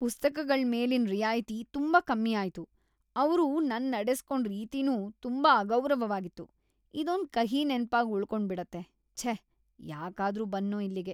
ಪುಸ್ತಕಗಳ್ ಮೇಲಿನ್ ರಿಯಾಯ್ತಿ ತುಂಬಾ ಕಮ್ಮಿ ಆಯ್ತು.. ಅವ್ರು ‌ನನ್ನ ನಡೆಸ್ಕೊಂಡ್‌ ರೀತಿನೂ ತುಂಬಾ ಅಗೌರವವಾಗಿತ್ತು. ಇದೊಂದ್ ಕಹಿ ನೆನಪಾಗ್‌ ಉಳ್ಕೊಂಡ್ಬಿಡತ್ತೆ.. ಛೇ, ಯಾಕಾದ್ರೂ ಬಂದ್ನೋ ಇಲ್ಲಿಗೆ.